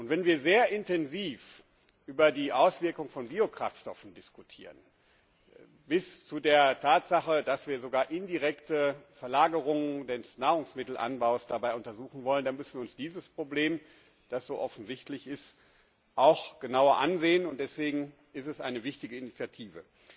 Wenn wir sehr intensiv über die Auswirkung von Biokraftstoffen diskutieren bis hin zu der Tatsache, dass wir sogar indirekt Verlagerungen des Nahrungsmittelanbaus untersuchen wollen, dann müssen wir uns dieses Problem, das so offensichtlich ist, auch genauer ansehen. Und deswegen ist dies eine wichtige Initiative.